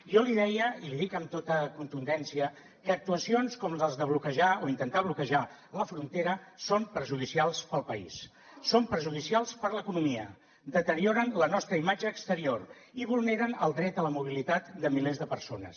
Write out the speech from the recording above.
jo li deia i l’hi dic amb tota contundència que actuacions com les de bloquejar o intentar bloquejar la frontera són perjudicials per al país són perjudicials per a l’economia deterioren la nostra imatge exterior i vulneren el dret a la mobilitat de milers de persones